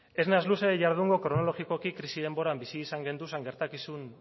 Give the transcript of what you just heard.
ez naiz luze jardungo kronologikoki krisi denboran bizi izan genduzan gertakizun